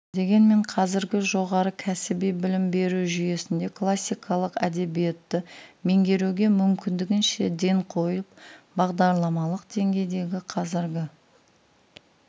дегенмен қазіргі жоғары кәсіби білім беру жүйесінде классикалық әдебиетті меңгеруге мүмкіндігінше ден қойылып бағдарламалық деңгейдегі қазіргі